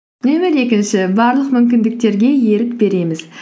нөмір екінші барлық мүмкіндіктерге ерік береміз